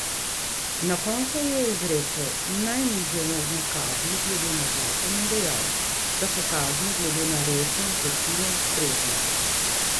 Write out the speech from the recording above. Na koncu je izrekel najnižje možne kazni glede na zakon in dejal, da so kazni glede na resnost zločina ustrezne.